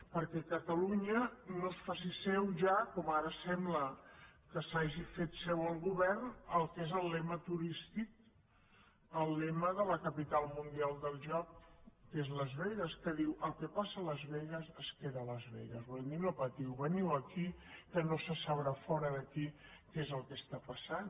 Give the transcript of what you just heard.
perquè catalunya no es faci seu ja com ara sembla que s’hagi fet seu el govern el que és el lema turístic el lema de la capital mundial del joc que és las vegas que diu el que passa a las vegas es queda a las vegas volent dir no patiu veniu aquí que no se sabrà fora d’aquí què és el que està passant